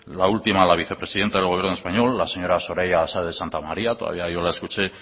la última la vicepresidenta del gobierno español la señora soraya sáez de santamaría todavía yo la escuché